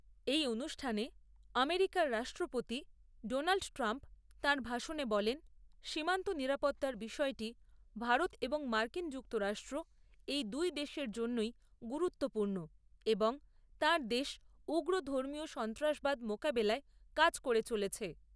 এই অনুষ্ঠানে আমেরিকার রাষ্ট্রপতি ডোনাল্ট ট্রাম্প তাঁর ভাষণে বলেন, সীমান্ত নিরাপত্তার বিষয়টি ভারত এবং মার্কিন যুক্তরাষ্ট্র এই দুই দেশের জন্যই গুরুত্বপূর্ণ এবং তাঁর দেশ উগ্র ধর্মীয় সন্ত্রাসবাদ মোকাবিলায় কাজ করে চলেছে।